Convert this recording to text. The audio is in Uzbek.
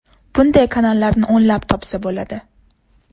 Bunday kanallarni o‘nlab topsa bo‘ladi.